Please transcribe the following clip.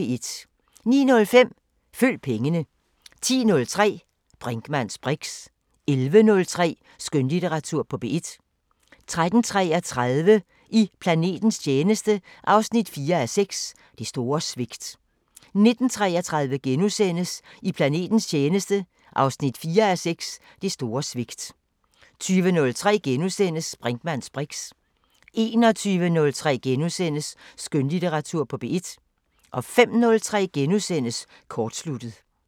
09:05: Følg pengene 10:03: Brinkmanns briks 11:03: Skønlitteratur på P1 13:33: I planetens tjeneste 4:6 – Det store svigt 19:33: I planetens tjeneste 4:6 – Det store svigt * 20:03: Brinkmanns briks * 21:03: Skønlitteratur på P1 * 05:03: Kortsluttet *